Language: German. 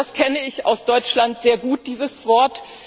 Das kenne ich aus Deutschland sehr gut, dieses Wort.